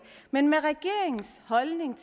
men regeringens holdning